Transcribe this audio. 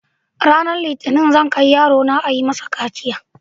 Ranar litinin zan kai yarona ayi masa kaciya.